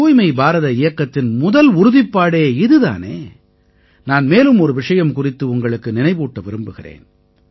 தூய்மை பாரத இயக்கத்தின் முதல் உறுதிப்பாடே இது தானே நான் மேலும் ஒரு விஷயம் குறித்து உங்களுக்கு நினைவூட்ட விரும்புகிறேன்